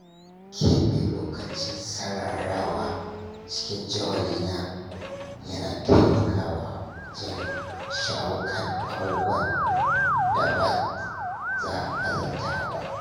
Keɓe lokacin sararawa cikin jadawalina yana taimakawa wajen shawo kan abubuwan da ba a zata ba.